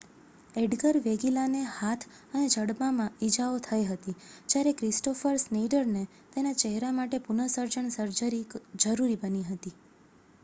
Edgar વેગીલાને હાથ અને જડબામાં ઈજાઓ થઇ હતી જ્યારે ક્રિસ્ટોફર સ્નેઈડરને તેના ચહેરા માટે પુન:સર્જન સર્જરી જરૂરી બની હતી